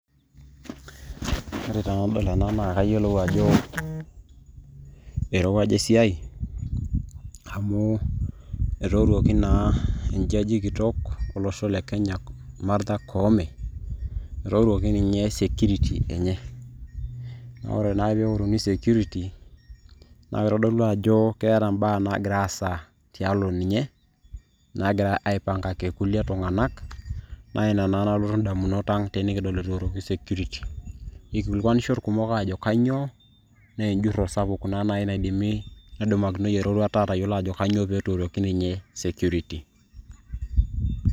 Ore taa tenadol ena naa kayiolou ajo eirowuaja esiai amu etooruoki naa enjaji kitok olosho le Kenya, Martha Koome, etooruoki ninye sekiriti enye. Naa ore naa peeworuni sekiriti naa keitodolu ajo keeta mbaa naagira aasa tialo ninye, naagirai aipangaki kulie tung'anak naa ina naa nalotu ndamunot ang' tenikidol etooruoki sekiriti. Eikilikuanisho ilkumok aajo kainyoo? naa enjurro sapuk naa naaji naidimi nedumakinoi eroruata atayiolo ajo kainyoo petooruoki ninye sekiriti.